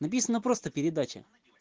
написано просто передача